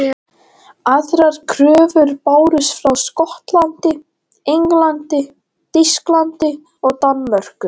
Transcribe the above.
Aðrar kröfur bárust frá Skotlandi, Englandi, Þýskalandi og Danmörku.